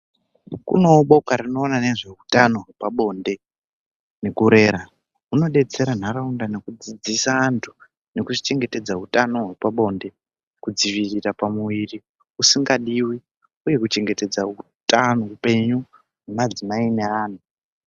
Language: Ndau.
Kunevo boka rinoona nezveutano hwepabonde nekurera. hunobetsera ntaraunda nekudzidzisa antu nekuchengetedza hutano hwpabonde. Kudzivirira pamuvri usingadivi, uye kuchengetedza hutano hupenyu hwemadzimai neana.